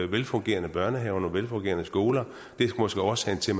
velfungerende børnehaver nogle velfungerende skoler og det er måske årsagen til